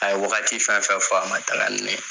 A ye wagati fɛn fɛn fɔ a ma taga ni ne ye.